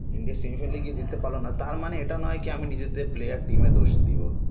India semi final এ গিয়ে জিততে পারলোনা তার মানে এটা নয় কি আমি নিজের দের player team -এর দোষ দিব